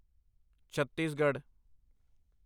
Chhattisgarh